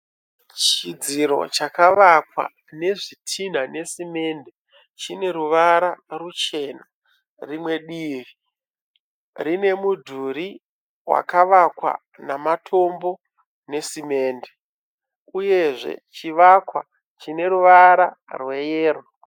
Chidziro chakavakwa nezvitinha nesemende. Chineruvara ruchena. Rimwe divi rine mudhuri wakavakwa nematombo nesemende uyezve chivakwa chine ruvara rweyero.